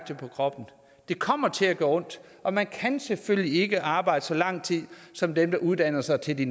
det på kroppen det kommer til at gøre ondt og man kan selvfølgelig ikke arbejde så lang tid som dem der uddanner sig til de